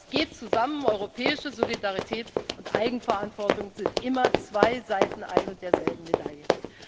Das geht zusammen, europäische Solidarität und Eigenverantwortung sind immer zwei Seiten ein und derselben Medaille.